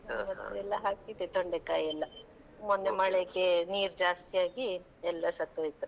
ಮತ್ತೆ ಎಲ್ಲಾ ಹಾಕಿದ್ದೆ ತೊಂಡೆ ಕಾಯಿಯೆಲ್ಲಾ, ಮೊನ್ನೆ ಮಳೆಗೆ ನೀರ್ ಜಾಸ್ತಿ ಆಗಿ ಎಲ್ಲಾ ಸತ್ತು ಹೋಯಿತು.